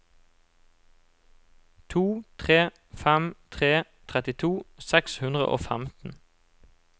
to tre fem tre trettito seks hundre og femten